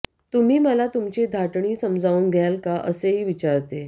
तुम्ही मला तुमची धाटणी समजावून द्याल का असेही विचारते